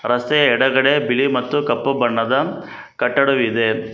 ರಸ್ತೆಯ ಎಡಗಡೆ ಬಿಳಿ ಮತ್ತು ಕಪ್ಪು ಬಣ್ಣದ ಕಟ್ಟಡವಿದೆ.